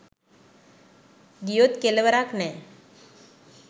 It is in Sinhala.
ගියොත් කෙලවරක් නැ